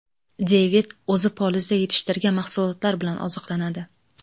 Devid o‘zi polizda yetishtirgan mahsulotlar bilan oziqlanadi.